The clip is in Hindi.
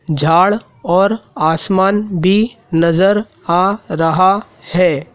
झाड़ और आसमान भी नज़र आ रहा है।